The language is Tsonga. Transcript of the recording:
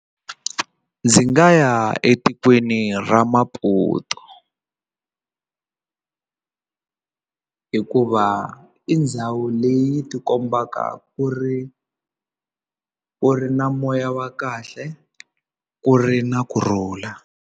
Ndzi nga ya etikweni ra Maputo hikuva i ndhawu leyi ti kombaka ku ri ku ri na moya wa kahle ku ri na kurhula.